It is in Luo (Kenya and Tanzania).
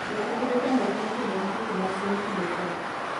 Jopidh yudo chndruok mar kedone tuoche mag gwen kinde koth